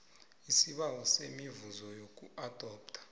isibawo semivuzo yokuadoptha